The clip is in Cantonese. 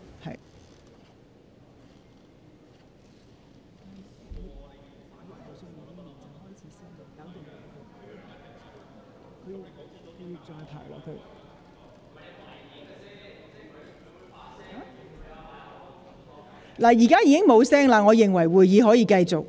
聲響現已停止，我認為會議可以繼續。